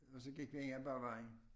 Og så gik vi egentlig bare vejen